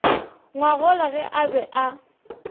ngwagola ge a be a